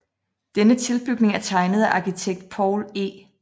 Denne tilbygning er tegnet af arkitekt Poul E